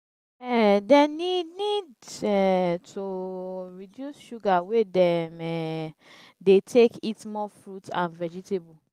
um dem need need um to reduce sugar wey dem um dey take eat more fruits and vegetables.